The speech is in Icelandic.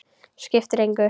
Skiptir engu.